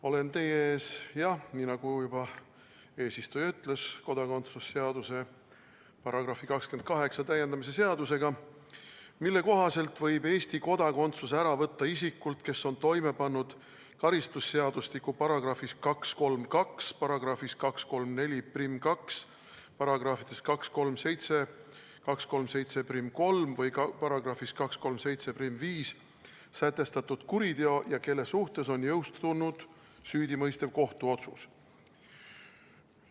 Olen teie ees, nii nagu juba eesistuja ütles, kodakondsuse seaduse § 28 täiendamise seadusega, mille kohaselt võib Eesti kodakondsuse ära võtta isikult, kes on toime pannud karistusseadustiku §-s 232, §-s 2342, §-des 237–2373 või §-s 2375 sätestatud kuriteo ja kelle suhtes on jõustunud süüdimõistev kohtuotsus.